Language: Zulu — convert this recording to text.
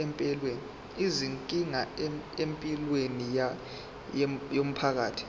izinkinga empilweni yomphakathi